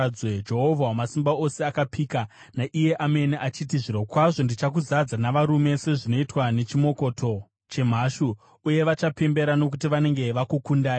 Jehovha Wamasimba Ose akapika naiye amene achiti: Zvirokwazvo ndichakuzadza navarume, sezvinoitwa nechimokoto chemhashu, uye vachapembera nokuti vanenge vakukundai.